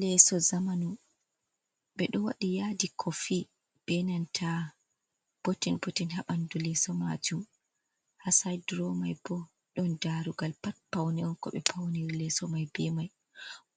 Leso zamanu, ɓeɗo waɗi yadi kofi benanta botin botin habandu leso majum, ha sait durowa man bo, ɗon darugal pat paune on ko be fauniri leso mai be mai,